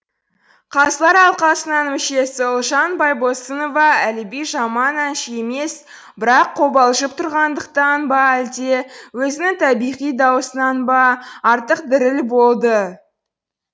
қазылар алқасының мүшесі ұлжан байбосынова әліби жаман әнші емес бірақ қобалжып тұрғандықтан ба әлде өзінің табиғи дауысынан ба артық діріл болды